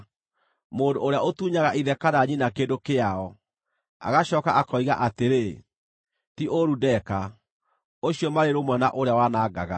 Mũndũ ũrĩa ũtunyaga ithe kana nyina kĩndũ kĩao, agacooka akoiga atĩrĩ, “Ti ũũru ndeka,” ũcio marĩ rũmwe na ũrĩa wanangaga.